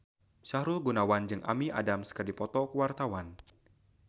Sahrul Gunawan jeung Amy Adams keur dipoto ku wartawan